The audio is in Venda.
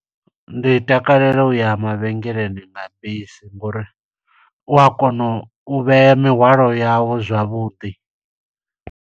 Ndi takalela uya mavhengeleni nga bisi, ngo uri u a kona u vhea mihwalo yawu zwavhuḓi.